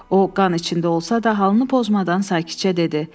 O qan içində olsa da, halını pozmadan sakitcə dedi: